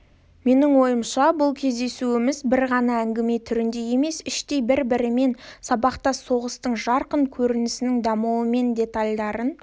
менің ойымша бұл кездесуіміз бір ғана әңгіме түрінде емес іштей бір-бірімен сабақтас соғыстың жарқын көрінісінің дамуы мен детальдарын